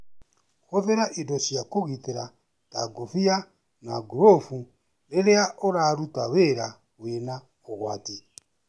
Hũthĩra indo cia kũgitĩra ta ngũfia na ngurũfu rĩrĩa ũraruta wĩra wina ũgwati.